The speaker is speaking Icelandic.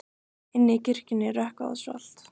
Inni í kirkjunni er rökkvað og svalt.